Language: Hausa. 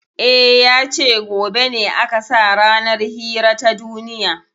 E, ya ce gobe ne aka sa ranar hira ta duniya.